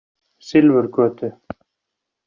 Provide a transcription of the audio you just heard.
Silfurgötu